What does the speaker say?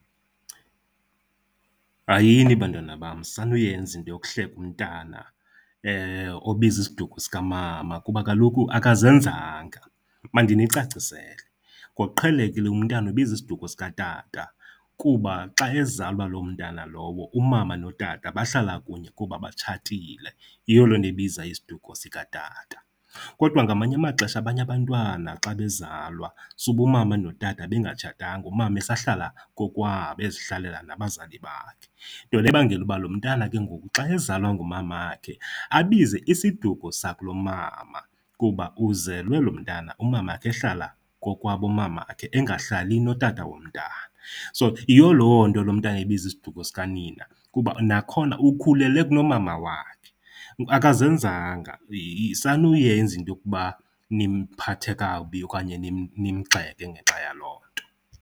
Hayini bantwana bam, sanuyenza into yokuhleka umntana obiza isiduko sikamama kuba kaloku akazenzanga. Mandinicacisele, ngokuqhelekile umntana ubiza isiduko sikatata kuba xa ezalwa loo mntana lowo, umama notata bahlala kunye kuba batshatile. Yiyo loo nto ebiza isiduko sikatata. Kodwa ngamanye amaxesha abanye abantwana xa bezalwa sube umama notata bengatshatanga, umama esahlala kokwabo, ezihlalela nabazali bakhe. Nto le ebangela uba lo mntana ke ngoku xa ezalwa ngumamakhe abize isiduko sakulomama kuba uzelwe lo mntana umama ehlala kokwabo mamakhe, engahlali notata womntana. So, yiyo loo nto lo mntana ebiza isiduko sikanina kuba nakhona ukhulele kulomama wakhe. Akazezanga, sanuyenza into yokuba nimphathe kakubi okanye nimgxeke ngenxa yaloo nto.